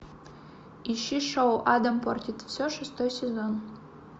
ищи шоу адам портит все шестой сезон